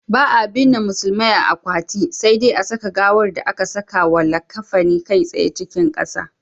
Ba'a binne musulmai a akwati, sai dai a saka gawar da aka sakawa likkafani kai tsaye cikin ƙasa.